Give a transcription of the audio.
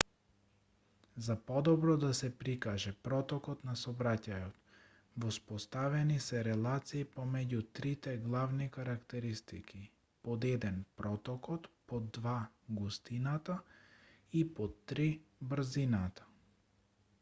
за подобро да се прикаже протокот на сообраќајот воспоставени се релации помеѓу трите главни карактеристики: 1 протокот 2 густината и 3 брзината